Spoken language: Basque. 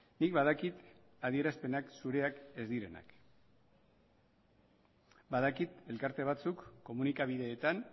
nik badakit adierazpenak zureak ez direla badakit elkarte batzuk komunikabideetan